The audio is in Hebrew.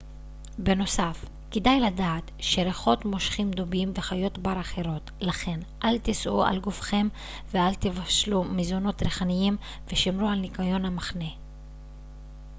בנוסף כדאי לדעת שריחות מושכים דובים וחיות בר אחרות לכן אל תישאו על גופכם ואל תבשלו מזונות ריחניים ושמרו על ניקיון המחנה